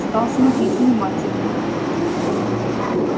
стал смотреть внимательней